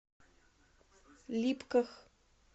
липках